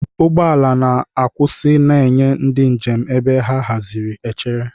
Ụgbọ ala na-akwụsị na-enye ndị njem ebe a haziri echere.